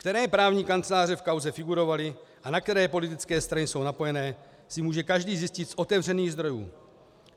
Které právní kanceláře v kauze figurovaly a na které politické strany jsou napojené, si může každý zjistit z otevřených zdrojů.